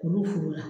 K'olu furu la